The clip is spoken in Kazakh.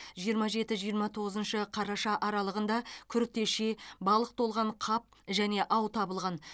жиырма жеті жиырма тоғызыншы қараша аралығында күртеше балық толған қап және ау табылған